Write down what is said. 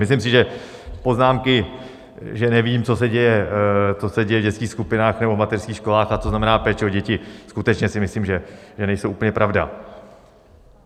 Myslím si, že poznámky, že nevím, co se děje v dětských skupinách nebo v mateřských školách a co znamená péče o děti, skutečně si myslím, že nejsou úplně pravda.